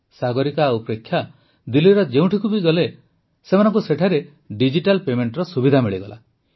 ସାଗରିକା ଓ ପ୍ରେକ୍ଷା ଦିଲ୍ଲୀର ଯେଉଁଠିକୁ ବି ଗଲେ ସେମାନଙ୍କୁ ସେଠାରେ ଡିଜିଟାଲ୍ ପେମେଂଟର ସୁବିଧା ମିଳିଲା